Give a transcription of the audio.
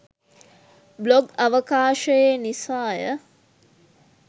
Blog අවකාශයේ නිසාය.